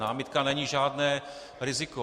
Námitka není žádné riziko.